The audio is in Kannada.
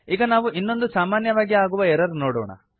ಈಗ ನಾವು ಇನ್ನೊಂದು ಸಾಮಾನ್ಯವಾಗಿ ಆಗುವ ಎರರ್ ನೋಡೋಣ